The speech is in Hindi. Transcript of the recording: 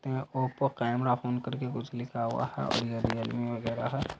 यहां ओप्पो कैमरा फोन करके कुछ लिखा हुआ है और ये रियलमी वगेरा है।